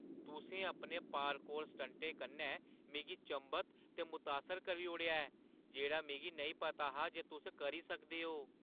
तुसें अपने पार्कौर स्टंटें कन्नै मिगी चंभत ते मुतासर करी ओड़ेआ ऐ जेह्ड़ा मिगी नेईं पता हा जे तुस करी सकदे ओ।